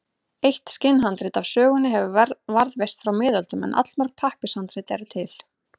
Eitt skinnhandrit af sögunni hefur varðveist frá miðöldum en allmörg pappírshandrit eru til.